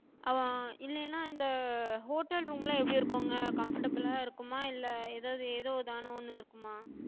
இல்லேன்னா இந்த hotel room லா எப்டி இருக்குங்க? comfortable லா இருக்குமா? இல்ல ஏதாது ஏதோ தானோன்னு இருக்குமா?